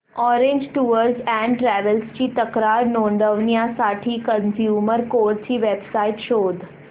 orange tours and travels ची तक्रार नोंदवण्यासाठी कंझ्युमर कोर्ट ची वेब साइट शोध